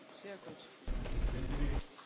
Herr Präsident, liebe Kolleginnen und Kollegen!